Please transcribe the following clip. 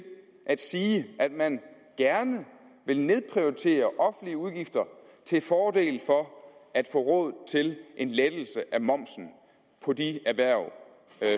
at sige at man gerne vil nedprioritere offentlige udgifter til fordel for at få råd til en lettelse af momsen for de erhverv